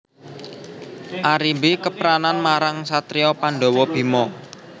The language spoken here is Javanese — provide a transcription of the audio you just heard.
Arimbi kepranan marang satriya Pandhawa Bima